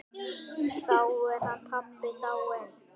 Þá er hann pabbi dáinn.